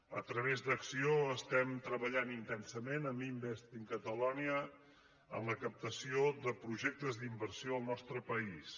a través d’acc1ó treballem intensament amb invest in catalonia en la captació de projectes d’inversió al nostre país